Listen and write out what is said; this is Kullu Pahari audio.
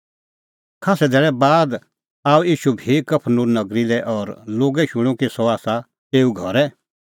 खास्सै धैल़ै बाद आअ ईशू बी कफरनहूम नगरी लै और लोगै शूणअ कि सह आसा एऊ घरै